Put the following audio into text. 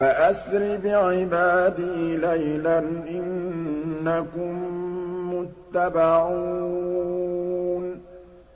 فَأَسْرِ بِعِبَادِي لَيْلًا إِنَّكُم مُّتَّبَعُونَ